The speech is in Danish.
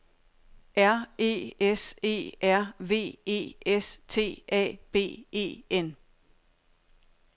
R E S E R V E S T A B E N